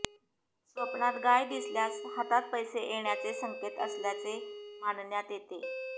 स्वप्नात गाय दिसल्यास हातात पैसे येण्याचे संकेत असल्याचे मानण्यात येते